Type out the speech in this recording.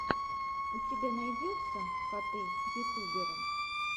у тебя найдется коты ютуберы